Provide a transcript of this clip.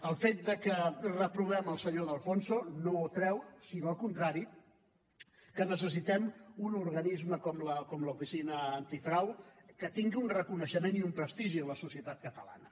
el fet que reprovem el senyor de alfonso no treu sinó al contrari que necessitem un organisme com l’oficina antifrau que tingui un reconeixement i un prestigi en la societat catalana